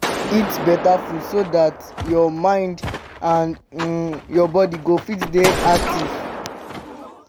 eat better food so dat your mind and um your body go fit dey active